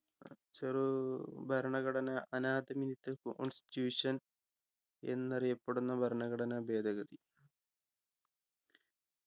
ചെറൂ ഭരണഘടന constitution എന്നറിയപ്പെടുന്ന ഭരണഘടനാ ഭേദഗതി